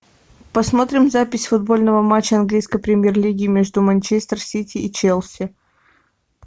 посмотрим запись футбольного матча английской премьер лиги между манчестер сити и челси